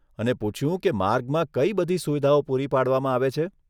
અને પૂછ્યું કે માર્ગમાં કઈ બધી સુવિધાઓ પૂરી પાડવામાં આવે છે.